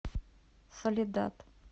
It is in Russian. соледад